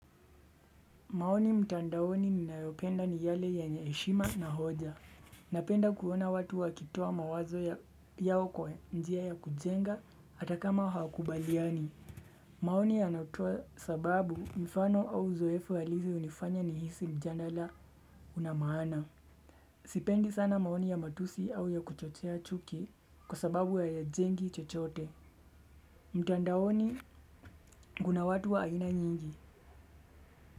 Maoni mtandaoni ninayopenda ni yale yenye heshima na hoja. Napenda kuona watu wa kitoa mawazo yao kwa njia ya kujenga hata kama hawakubaliani. Maoni yanotoa sababu mfano au zoefu halisi hunifanya nihisi mjandala unamaana. Sipendi sana maoni ya matusi au ya kuchochea chuki kwa sababu hayajengi chochote. Mtandaoni guna watu wa aina nyingi.